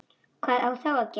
Hvað á þá að gera?